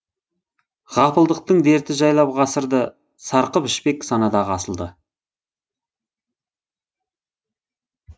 ғапылдықтың дерті жайлап ғасырды сарқып ішпек санадағы асылды